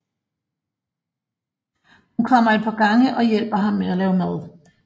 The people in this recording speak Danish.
Hun kommer et par gange og hjælper ham med at lave mad